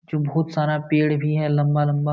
जो बहुत सारा पेड़ भी है लम्बा-लम्बा --